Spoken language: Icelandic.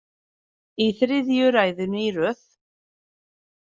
Í þriðju ræðunni í röð.